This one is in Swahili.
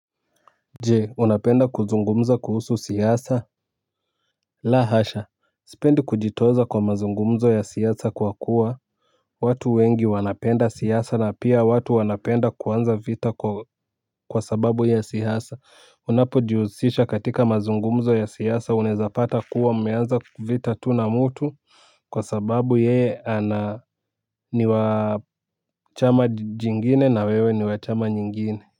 Je unapenda kuzungumza kuhusu siasa. La hasha. Sipendi kujitoza kwa mazungumzo ya siasa kuwa kuwa watu wengi wanapenda siasa na pia watu wanapenda kuanza vita kwa sababu ya siasa. Unapojihusisha katika mazungumzo ya siasa unaezapata kuwa mmeanza vita tu na mutu. Kwa sababu yeye ana ni wa chama jingine na wewe ni wachama nyingine.